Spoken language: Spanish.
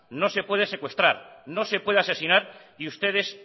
no se puede secuestrar no se puede asesinar y ustedes